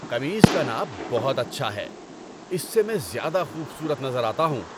قمیص کا ناپ بہت اچھا ہے۔ اس سے میں زیادہ خوبصورت نظر آتا ہوں۔